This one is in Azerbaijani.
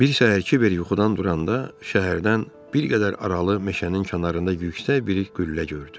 Bir səhər Kiber yuxudan duranda, şəhərdən bir qədər aralı meşənin kənarında yüksək bir qüllə gördü.